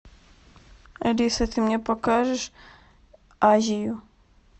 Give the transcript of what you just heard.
алиса ты мне покажешь азию